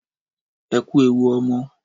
Ẹkú ewu ọmọ.